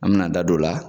An me na an da don o la